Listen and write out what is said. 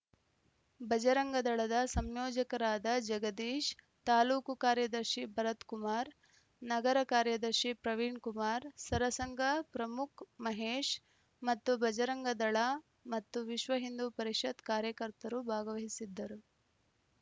ಭಜರಂಗದಳದ ಸಂಯೋಜಕರಾದ ಜಗದೀಶ್‌ ತಾಲೂಕು ಕಾರ್ಯದರ್ಶಿ ಭರತ್‌ಕುಮಾರ್‌ ನಗರ ಕಾರ್ಯದರ್ಶಿ ಪ್ರವೀಣ್‌ಕುಮಾರ್‌ ಸರಸಂಘ ಪ್ರಮುಖ್‌ ಮಹೇಶ್‌ ಮತ್ತು ಭಜರಂಗದಳ ಮತ್ತು ವಿಶ್ವಹಿಂದೂ ಪರಿಷತ್‌ ಕಾರ್ಯಕರ್ತರು ಭಾಗವಹಿಸಿದ್ದರು